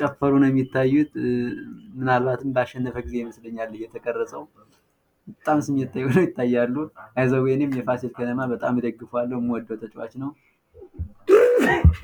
ደግሞ የቡድን ትስስርንና ወገንተኝነትን ያጠናክራሉ።